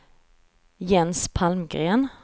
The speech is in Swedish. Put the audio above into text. Jens Palmgren